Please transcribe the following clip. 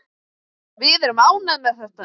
Við erum ánægð með þetta.